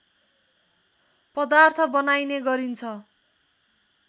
पदार्थ बनाइने गरिन्छ